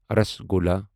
rasgulla